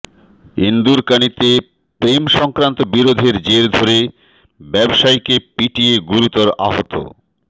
ইন্দুরকানীতে প্রেম সংক্রান্ত বিরোধের জের ধরে ব্যবসায়ীকে পিটিয়ে গুরুতর আহত